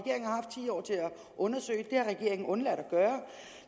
undersøge det det har regeringen undladt at gøre